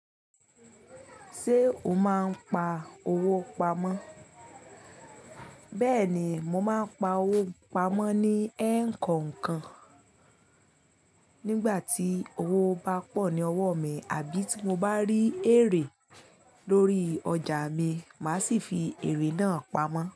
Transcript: Ṣé o máa ń pa owó pamọ́? Bẹ́ẹ̀ni, mo máa ń pa owó pamọ́ ní ẹ́kọ̀ońkọ̀n. Nígbà tí owó bá pọ̀ ní ọwọ́ mi àbí tí mo bá rí èrè lórí ọjà mi, màá sì fi èrè náà pamọ́.